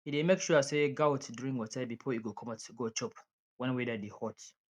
he dey make sure say goat drink water before e go commot go chop wen weather dey hot